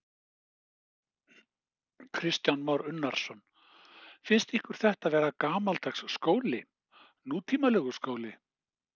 Kristján Már Unnarsson: Finnst ykkur þetta vera gamaldags skóli, nútímalegur skóli?